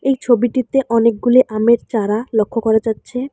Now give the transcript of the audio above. এই ছবিটিতে অনেকগুলি আমের চারা লক্ষ করা যাচ্ছে।